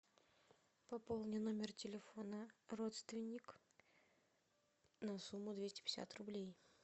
пополни номер телефона родственник на сумму двести пятьдесят рублей